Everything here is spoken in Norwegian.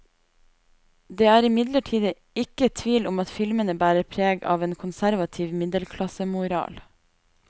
Det er imidlertid ikke tvil om at filmene bærer preg av en konservativ middelklassemoral.